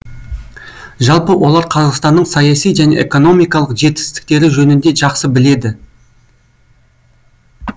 жалпы олар қазақстанның саяси және экономикалық жетістіктері жөнінде жақсы біледі